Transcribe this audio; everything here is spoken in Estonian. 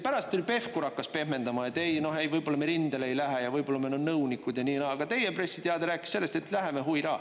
Pärast küll Pevkur hakkas pehmendama, et ei, võib-olla me rindele ei lähe ja võib-olla me oleme nõunikud ja nii, aga teie pressiteade rääkis sellest, et läheme …